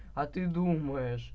а ты думаешь